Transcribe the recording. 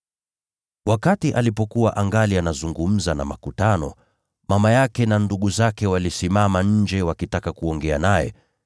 Wakati alikuwa angali anazungumza na makutano, mama yake na ndugu zake wakasimama nje wakitaka kuongea naye.